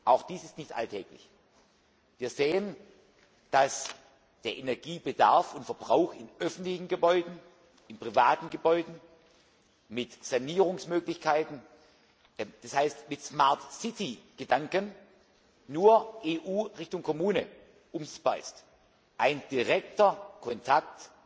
Auch dies ist nicht alltäglich. Wir sehen, dass der Energiebedarf und verbrauch in öffentlichen Gebäuden, in privaten Gebäuden mit Sanierungsmöglichkeiten, das heißt mit smart city Gedanken, nur von der EU in Richtung Kommune umsetzbar ist, ein direkter Kontakt